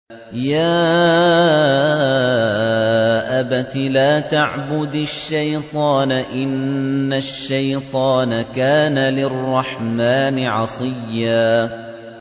يَا أَبَتِ لَا تَعْبُدِ الشَّيْطَانَ ۖ إِنَّ الشَّيْطَانَ كَانَ لِلرَّحْمَٰنِ عَصِيًّا